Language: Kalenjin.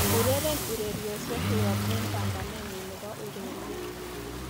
ureren ureryosyek koyop en paanganenyun nepo ureryet